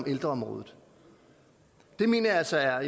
og ældreområdet det mener jeg altså er